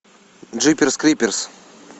джиперс криперс